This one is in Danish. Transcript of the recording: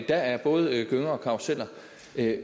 der er både gynger og karruseller